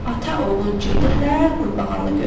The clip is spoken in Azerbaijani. Ata-oğul gedirlər Qurbağalı gölə.